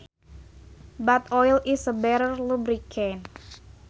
But oil is a better lubricant